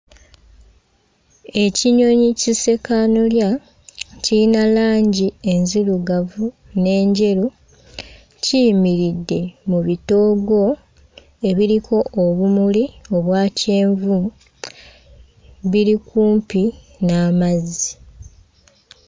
Ekinyonyi kissekannolya kiyina langi enzirugavu n'enjeru kiyimiridde mu bitoogo ebiriko obumuli obwa kyenvu biri kumpi n'amazzi.